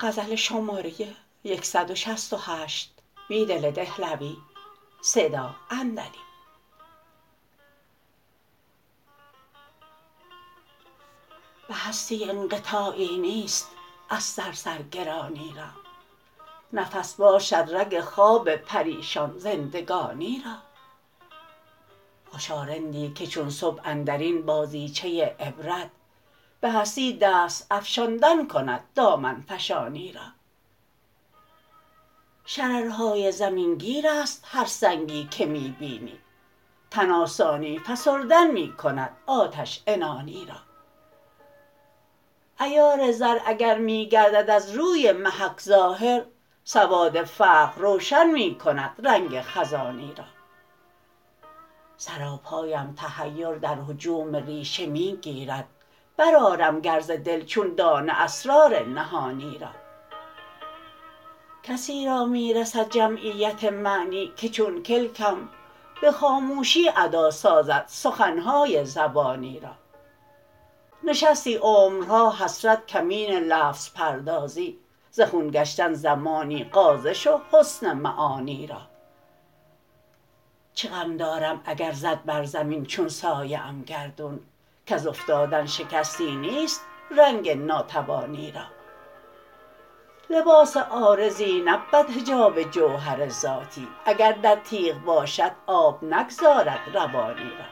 به هستی انقطاعی نیست از سر سرگرانی را نفس باشد رگ خواب پریشان زندگانی را خوشارندی که چون صبح اندرین بازیچه عبرت به هستی دست افشاندن کند دامن فشانی را شررهای زمینگیرست هرسنگی که می بینی تن آسانی فسردن می کند آتش عنانی را عیار زر اگر می گردد از روی محک ظاهر سواد فقر روشن می کند رنگ خزانی را سراپایم تحیر در هجوم ریشه می گیرد برآرم گر ز دل چون دانه اسرار نهانی را کسی را می رسد جمعیت معنی که چون کلکم به خاموشی ادا سازد سخنهای زبانی را نشستی عمرها حسرت کمین لفظ پردازی زخون گشتن زمانی غازه شوحسن معانی را چه غم دارم اگر زد برزمین چون سایه ام گردون کز افتادن شکستی نیست رنگ ناتوانی را لباس عارضی نبود حجاب جوهر ذاتی اگر در تیغ باشد آب نگذارد روانی را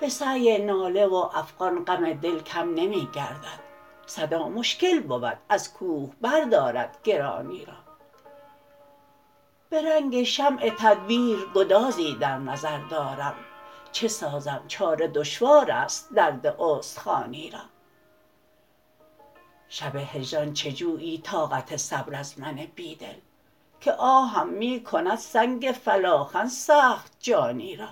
به سعی ناله و افغان غم دل کم نمی گردد صدا مشکل بود ازکوه بردارد گرانی را به رنگ شمع تدبیرگدازی در نظر دارم چه سازم چاره دشوار است درداستخوانی را شب هجران چه جویی طاقت صبر ازمن بیدل که آهم می کند سنگ فلاخن سخت جانی را